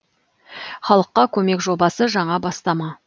халыққа көмек жобасы жаңа бастама